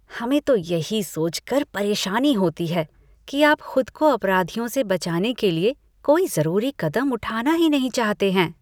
हमें तो यही सोचकर परेशानी होती है कि आप खुद को अपराधियों से बचाने के लिए कोई ज़रूरी कदम उठाना ही नहीं चाहते हैं।